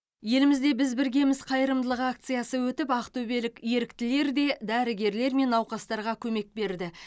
елімізде бізбіргеміз қайырымдылық акциясы өтіп ақтөбелік еріктілер де дәрігерлер мен науқастарға көмек берді